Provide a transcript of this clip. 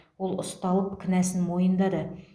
ол ұсталып кінәсін мойындады